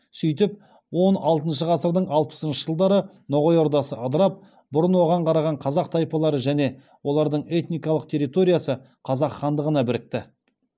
сөйтіп он алтыншы ғасырдың алпысыншы жылдары ноғай ордасы ыдырап бұрын оған қараған қазақ тайпалары және олардың этникалық территориясы қазақ хандығына бірікті